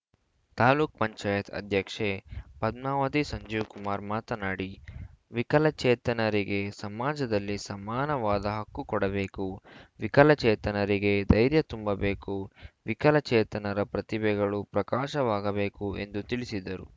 ತಾಲೂಕ್ ಪಂಚಾಯತ್ ಅಧ್ಯಕ್ಷೆ ಪದ್ಮಾವತಿ ಸಂಜೀವ್‌ಕುಮಾರ್‌ ಮಾತನಾಡಿ ವಿಕಲಚೇತನರಿಗೆ ಸಮಾಜದಲ್ಲಿ ಸಮಾನವಾದ ಹಕ್ಕು ಕೊಡಬೇಕು ವಿಕಲಚೇತನರಿಗೆ ಧೈರ್ಯ ತುಂಬಬೇಕು ವಿಕಲಚೇತನರ ಪ್ರತಿಭೆಗಳು ಪ್ರಕಾಶವಾಗಬೇಕು ಎಂದು ತಿಳಿಸಿದರು